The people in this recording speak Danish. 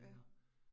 Ja